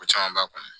Ko caman b'a kɔnɔ